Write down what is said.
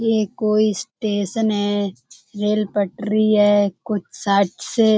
ये कोई स्टेशन है। रेल पटरी है कुछ साइड से--